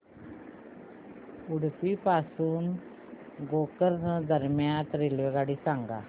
उडुपी पासून गोकर्ण दरम्यान रेल्वेगाडी सांगा